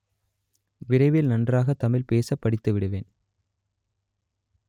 விரைவில் நன்றாக தமிழ் பேச படித்துவிடுவேன்